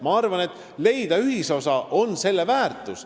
Ma arvan, et ühisosa leidmine on see väärtus.